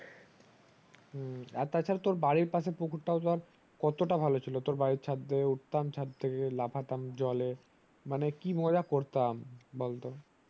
হুম আর তাছাড়া বাড়ির পাশে পুকুর তাও কত তা ভালো ছিল বাড়ি ছাদ থেকে উঠাম ছাদ থেকে লাফাথাম জলে মানে কি মজা করতাম বল তো